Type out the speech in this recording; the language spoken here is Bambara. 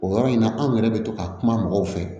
O yɔrɔ in na anw yɛrɛ bɛ to ka kuma mɔgɔw fɛ